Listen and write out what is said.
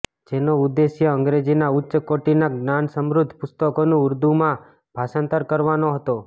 જેનો ઉદ્દેશ્ય અંગ્રેજીના ઉચ્ચ કોટિના જ્ઞાનસમૃધ્ધ પુસ્તકોનું ઉર્દુમાં ભાષાંતર કરવાનો હતો